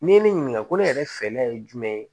N'i ye ne ɲininka ko ne yɛrɛ fɛla ye jumɛn ye